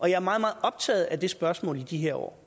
og jeg er meget meget optaget af det spørgsmål i de her år